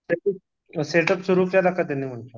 त्यांनी set up सुरू केला का